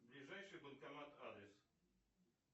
ближайший банкомат адрес